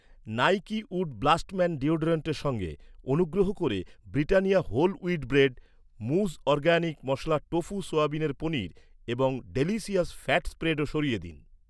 Nike wood blast man ডিওড্রেন্টের সঙ্গে, অনুগ্রহ করে, ব্রিটানিয়া হোল উইট ব্রেড, মুজ অরগ্যানিক মশলা টোফু সোয়াবিনের পনির এবং ডিলিশিয়াস ফ্যাট স্প্রেডও সরিয়ে দিন।